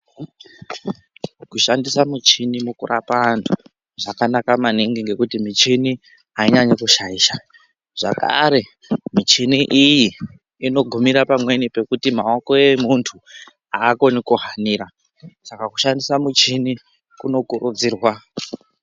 Kushandisa muchini mukurapa antu zvakanaka maningi ngekuti michini ainyanyi kushaisha zvakare michini iyi inogumira pamweni pekuti maoko emuntu akoni kuhanira saka kushandisa muchini kunokurudzirwa.